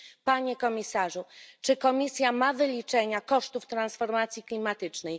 Panie komisarzu, czy Komisja ma wyliczenia kosztów transformacji klimatycznej?